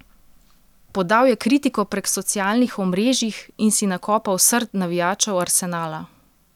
Podal je kritiko prek socialnih omrežjih in si nakopal srd navijačev Arsenala.